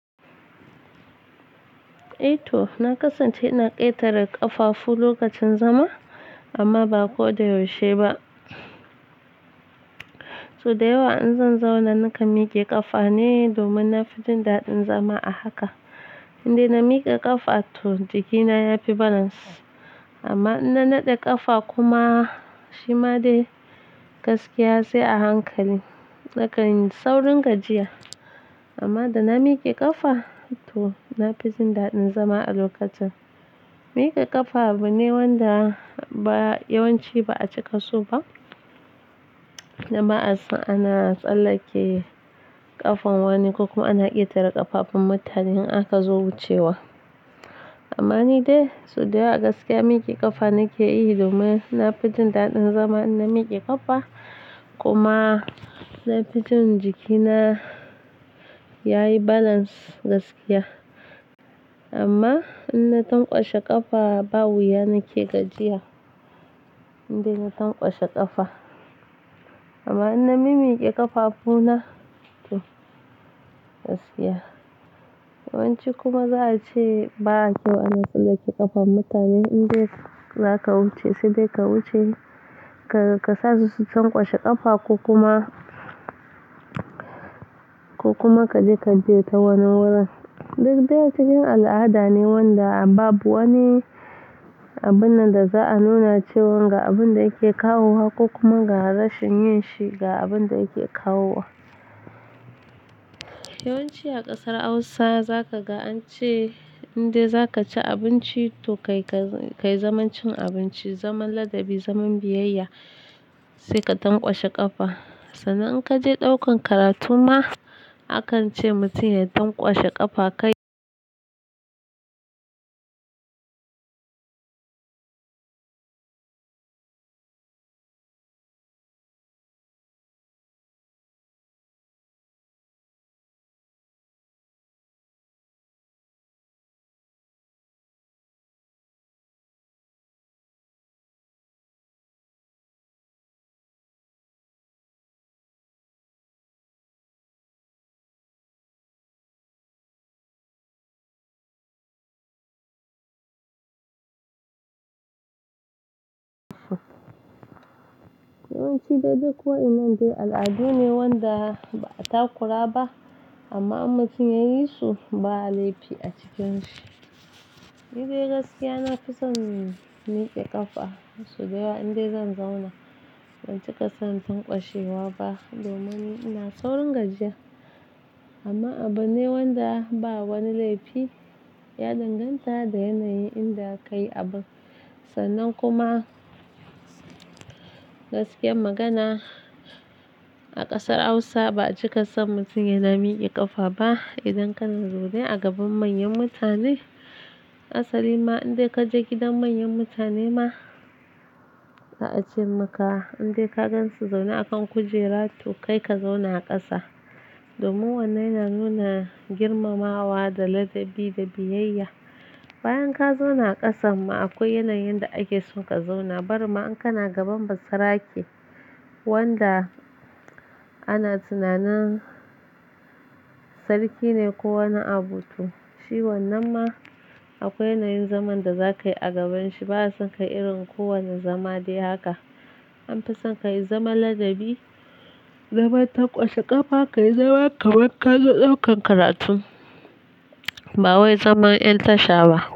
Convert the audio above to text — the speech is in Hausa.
To, na kasance ina ƙetare ƙafafu lokacin zama amma ba ko da yaushe ba. Soda yawa in zan zauna nakan mike ƙafa ne domin na fi jin daɗin zama a haka. Inda na miƙa ƙafa to jikina ya fi balance. Amma in na naɗe ƙafa kuma shi ma dai gaskiya sai a hankali. Nakan yi saurin gajiya. Amma da na mike ƙafa to na fi jin daɗin zama a lokacin. Mike ƙafa abu ne wanda ba yawanci ba a cika so ba. Na ba son ana tsallake ƙafan wani ko kuma ana ƙetare ƙafafun mutane in aka zo wucewa. Amma ni dai so dayawa gaskiya mike ƙafa nake yi domin na fi jin daɗin zama ina mike ƙafa kuma na fi jin jikina yayi balance gaskiya. Amma in na tangwashe ƙafa ba wuya nake gajiya, indai na tangwashe ƙafa. Amma in na mimiƙe ƙafafu na to gaskiya. Yawanci kuma za a ce ba kyau ana tsallake ƙafan mutane. In dai zaka wuce sai dai ka wuce ka sa su tangwashe ƙafa ko kuma, ko kuma ka je ka biye ta wani wurin. Duk dai cikin al'ada ne wanda babu wani abun nan da za a nuna cewan ga abun da yake kawo wa ko kuma ga rashin yin shi ga abun da yake kawo wa. Yawanci a ƙasar Hausa za ka ga an ce in dai za ka ci abinci to kai ka kai zaman cin abinci, zaman ladabi, zaman biyayya sai ka tangwashe ƙafa. Sannan in ka je ɗaukan karatu ma akan ce mutum ya tangwashe ƙafa kai. Yawanci da duk wa'inan dai al'adu ne wanda ba a takura ba amma in mutum yayi su ba laifi a cikinshi. Ni dai gaskiya nafi son miƙe ƙafa so dayawa in dai zan zauna ban cika son tangwashe wa ba domin ni ina saurin gajiya. Amma abu ne wanda ba wani laifi ya danganta da yanayin inda ka yi abun. Sannan kuma gaskiyar magana a ƙasar Hausa ba a cika son mutum ya na miƙe ƙafa ba idan kana zaune a gaban manyan mutane. Asali ma in dai ka je gidan manyan mutane ma za a ce maka in dai ka gan su zaune a kan kujera to kai ka zauna a ƙasa. Domin wannan yana nuna girmamawa da ladabi da biyayya. Bayan ka zauna a ƙasan ma akwai yanayin da ake son ka zauna. Bari ma in kana gaban basarake wanda ana tunanin sarki ne ko wani abu toh. Shi wannan ma akwai yanayin zaman da za ka yi a gabanshi. Ba a sa ka irin kowane zama dai haka. An fi son ka yi zaman ladabi, zaman tangwashe ƙafa, ka yi zaman kamar ka zo ɗaukan karatu. Ba wai zaman ƴan tashawa.